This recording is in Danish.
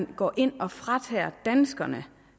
går ind og fratager danskerne